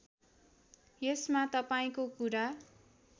यसमा तपाईँको कुरा